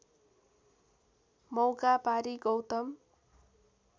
मौका पारी गौतम